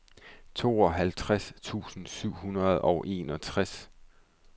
tooghalvtreds tusind syv hundrede og enogtres